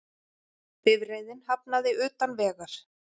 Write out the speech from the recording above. Bifreiðin hafnaði utan vegar